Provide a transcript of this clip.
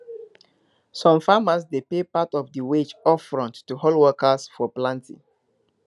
some farmers dey pay part of di wage upfront to hold workers for planting